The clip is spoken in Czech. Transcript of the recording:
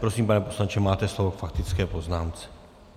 Prosím, pane poslanče, máte slovo k faktické poznámce.